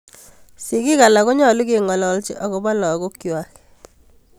Sigik alak konyolu keng'olochi akopo lagok kwak